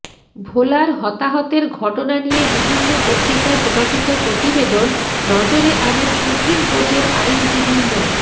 ভোলার হতাহতের ঘটনা নিয়ে বিভিন্ন পত্রিকায় প্রকাশিত প্রতিবেদন নজরে আনেন সুপ্রিম কোর্টের আইনজীবী মো